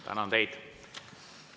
Tänan teid!